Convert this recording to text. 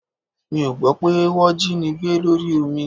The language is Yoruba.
Mi ò gbọ́ pé wọ́ jínigbé lórí omi